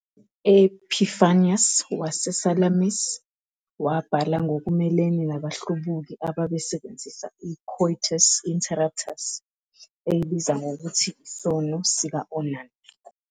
U-Epiphanius waseSalamis wabhala ngokumelene nabahlubuki ababesebenzisa i-"coitus interruptus", eyibiza ngokuthi isono sika-Onan.